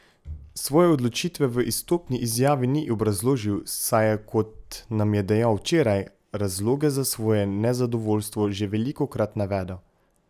Svoje odločitve v izstopni izjavi ni obrazložil, saj je, kot nam je dejal včeraj, razloge za svoje nezadovoljstvo že velikokrat navedel.